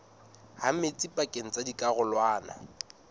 ha metsi pakeng tsa dikarolwana